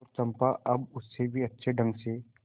तो चंपा अब उससे भी अच्छे ढंग से